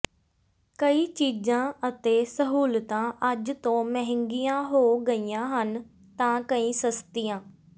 ਕਈ ਚੀਜ਼ਾਂ ਅਤੇ ਸਹੂਲਤਾਂ ਅੱਜ ਤੋਂ ਮਹਿੰਗੀਆਂ ਹੋ ਗਈਆਂ ਹਨ ਤਾਂ ਕਈ ਸਸਤੀਆ